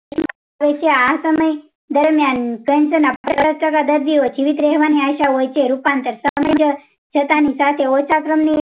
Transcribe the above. હોય છે આ સમયે દરમિયાન cancer ના પચાસ ટકા દર્દીઓ જીવિત રેહવાનીઆશા હોય છે રૂપં ટાર ચટણી સાથે ઓછા ક્રમની